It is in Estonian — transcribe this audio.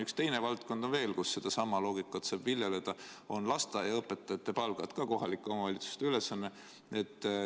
Üks teine valdkond on veel, kus sedasama loogikat saab viljeleda, need on lasteaiaõpetajate palgad, mis on ka kohalike omavalitsuste ülesanne.